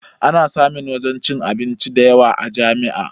Ana samun wajen cin abinci dayawa a jami'a